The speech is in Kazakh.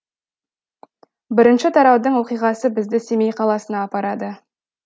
бірінші тараудың оқиғасы бізді семей қаласына апарады